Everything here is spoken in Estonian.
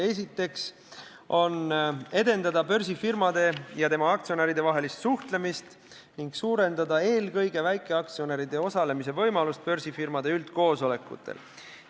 Esiteks soovitakse edendada börsifirmade ja nende aktsionäride vahelist suhtlemist ning suurendada eelkõige väikeaktsionäride võimalust osaleda börsifirmade üldkoosolekutel.